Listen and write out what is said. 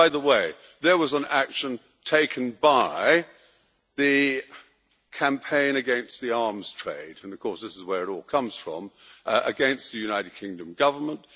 By the way, there was an action taken by the Campaign Against the Arms Trade and of course, this is where it all comes from against the United Kingdom Government.